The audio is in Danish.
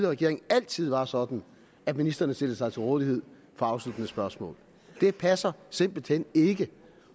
regering altid var sådan at ministerne stillede sig til rådighed for afsluttende spørgsmål det passer simpelt hen ikke